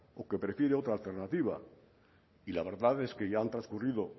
o que prefiere otra alternativa y la verdad es que ya han transcurrido